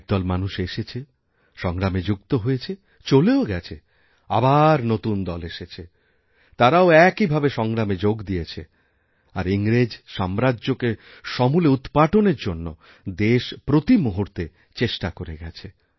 একদল মানুষ এসেছে সংগ্রামে যুক্ত হয়েছে চলেও গেছে আবার নতুন দল এসেছেতারাও একইভাবে সংগ্রামে যোগ দিয়েছে আর ইংরেজ সাম্রাজ্যকে সমূলে উৎপাটনের জন্যদেশ প্রতি মুহূর্তে চেষ্টা করে গেছে